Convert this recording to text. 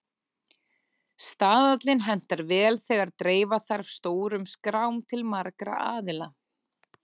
Staðallinn hentar vel þegar dreifa þarf stórum skrám til margra aðila.